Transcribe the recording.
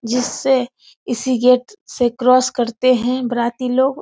जिससे इसी गेट से क्रॉस करते हैं बाराती लोग।